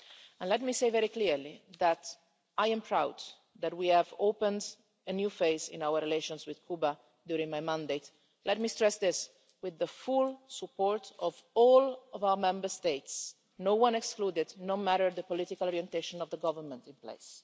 And let me say very clearly that I am proud that we have opened a new phase in our relations with Cuba during my mandate let me stress this with the full support of all of our Member States, no one excluded, no matter the political orientation of the government in place.